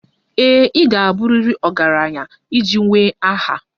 Ee e, ị ga-abụrịrị ọgaranya iji nwee aha.